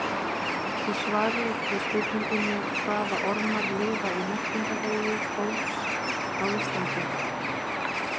Í svari við spurningunni Hvaða ormar lifa í meltingarvegi fólks á Íslandi?